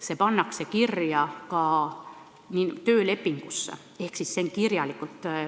See pannakse kirja ka töölepingusse ehk see on kirjalik.